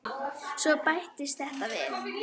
Svo bættist þetta við.